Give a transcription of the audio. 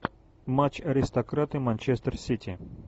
матч аристократы манчестер сити